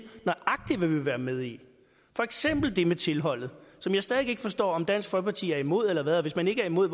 nøjagtig hvad vi vil være med i for eksempel det med tilholdet som jeg stadig væk ikke forstår om dansk folkeparti er imod eller hvad og hvis man ikke er imod